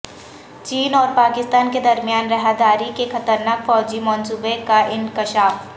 چین اور پاکستان کے درمیان راہداری کے خطرناک فوجی منصوبے کا انکشاف